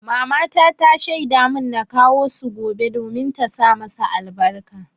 Mamata ta shaida mun na kawo su gobe domin ta sa masa albarka.